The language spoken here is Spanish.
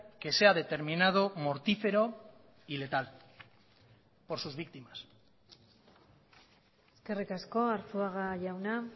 que se ha determinado mortífero y letal por sus víctimas eskerrik asko arzuaga jauna